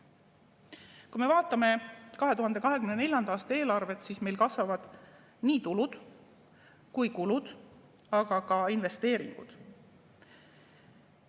Kui me vaatame 2024. aasta eelarvet, siis meil kasvavad nii tulud kui kulud, aga ka investeeringud.